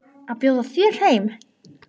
Að bjóða þér heim.